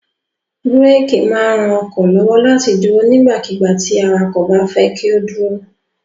Búrékì máa ń ran ọkọ̀ lọ́wọ́ láti dúró nígbàkigbà tí awakọ̀ bá fẹ́ kí ó dúró.